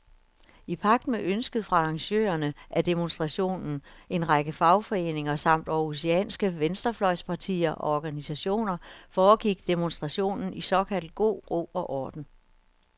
I pagt med ønsket fra arrangørerne af demonstrationen, en række fagforeninger samt århusianske venstrefløjspartier og organisationer, foregik demonstrationen i såkaldt god ro og orden.